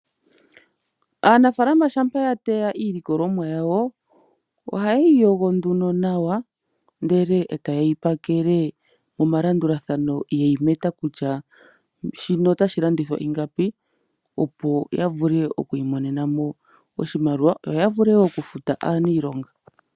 Anafaalama shapa ya teya iilikolomwa yawo oha yeyi yogo nduno nawa ndele eta yeyi pakele momalandulathano yeyi meta kutya shino otashi landithwa ingapi opo ya vule oku imonena mo oshimaliwa yo ya vule oku futa aanilonga.